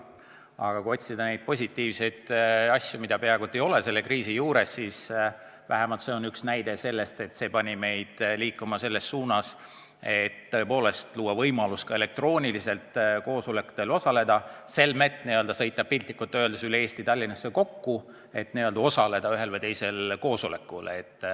Aga kui otsida positiivseid tegureid, mida peaaegu et ei ole selle kriisi puhul, siis vähemalt see on üks näide: kriis pani meid liikuma selles suunas, et luua võimalus ka elektrooniliselt koosolekutel osaleda, selmet sõita piltlikult öeldes üle Eesti Tallinnasse kokku, et osaleda ühel või teisel koosolekul.